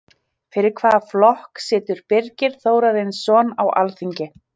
Fyrir hvaða flokk situr Birgir Þórarinsson á Alþingi?